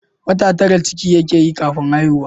Wata tara ciki ke yi kafin haihuwa